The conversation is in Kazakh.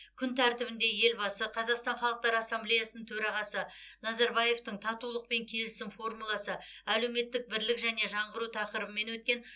күн тәртібінде елбасы қазақстан халықтар ассамблеясын төрағасы назарбаевтың татулық пен келісім формуласы әлеуметтік бірлік және жаңғыру тақырыбымен өткен